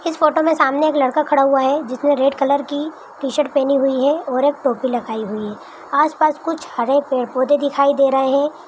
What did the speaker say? इस फोटो मे सामने एक लड़का खड़ा हुआ है जिसने रेड कलर की टी शर्ट पेहनी हुई है ओर एक टोपी लगाई हुई है आस-पास कुछ हरे पेड़-पोधे दिखाई दे रहे है।